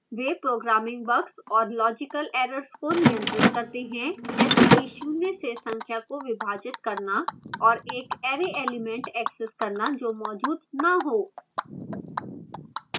वे programming bugs और logical errors को नियंत्रित करते हैं जैसे कि शून्य से संख्या को विभाजित करना और एक array element एक्सेस करना जो मौजूद न हो